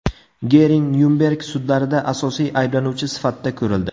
Gering Nyurnberg sudlarida asosiy ayblanuvchi sifatida ko‘rildi.